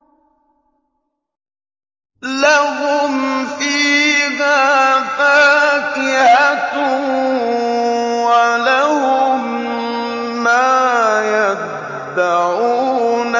لَهُمْ فِيهَا فَاكِهَةٌ وَلَهُم مَّا يَدَّعُونَ